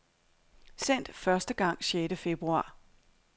Sendt første gang sjette februar.